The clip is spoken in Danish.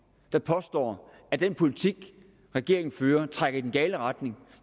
der påstår at den politik regeringen fører trækker i den gale retning